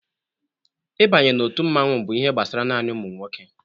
Ịbanye na otu mmanwụ bụ ihe gbasara naanị ụmụnwoke.